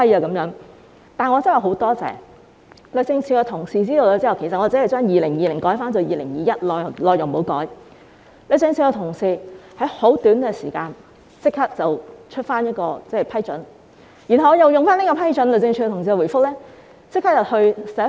但是，我真的很感謝，律政司的同事知道我只是把2020年改為2021年，內容不改，他們在很短的時間立即發出批准，然後我便以此批准立即去信行政長官。